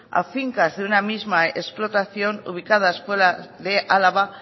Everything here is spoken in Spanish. a fincas de una misma explotación ubicadas fuera de álava